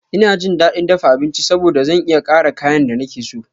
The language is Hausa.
Ina jin daɗin dafa abinci saboda zan iya ƙara kayan da nake so.